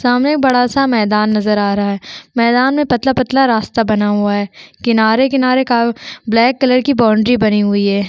सामने बड़ा-सा मैदान नज़र आ रहा है मैदान में पतला-पतला रास्ता बना हुआ है किनारे-किनारे का ब्लैक कलर की बाउंड्री बनी हुई है।